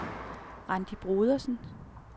Randi Brodersen